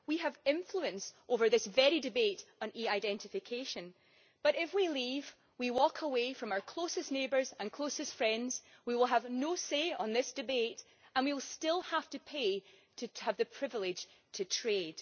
We have influence over this very debate on e identification, but if we leave, if we walk away from our closest neighbours and closest friends, we will have no say in this debate and yet we will still have to pay to have the privilege to trade.